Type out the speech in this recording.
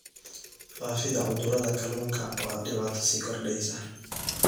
Faafidda cudurrada kalluunka waa dhibaato sii kordheysa.